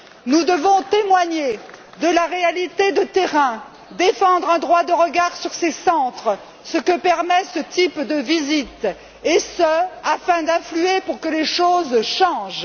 Nous devons témoigner de la réalité de terrain, défendre un droit de regard sur ces centres, ce que permet ce type de visites, et ce afin d'agir pour que les choses changent.